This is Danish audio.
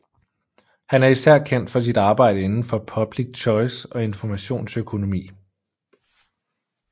Han er især kendt for sit arbejde inden for public choice og informationsøkonomi